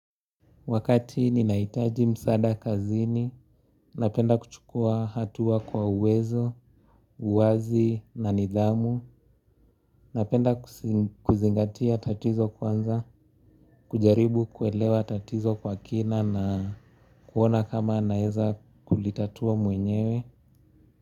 Wakati ninahitaji msaada kazini, napenda kuchukua hatua kwa uwezo, uwazi na nidhamu, napenda kuzingatia tatizo kwanza, kujaribu kuelewa tatizo kwa kina na kuona kama naeza kulitatua mwenyewe.